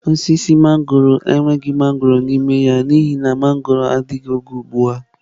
Osisi mangọrọ enweghị mangọrọ n'ime ya n'ihi na mangọrọ adịghị n'oge ugbu a.